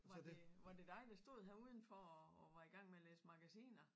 Var det var det dig der stod her udenfor og og var i gang med at læse magasiner?